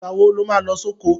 Ìgbà wo lo má lọ sóko?